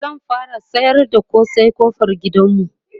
zan fara sayar da kosai ƙofar gidanmu